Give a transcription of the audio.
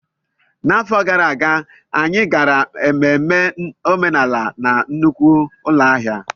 N'afọ gara aga, anyị gara ememme omenala na nnukwu ụlọ ahịa.